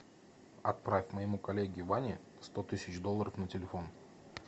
отправь моему коллеге ване сто тысяч долларов на телефон